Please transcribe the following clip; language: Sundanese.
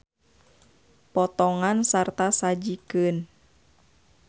Potongan sarta sajikeun.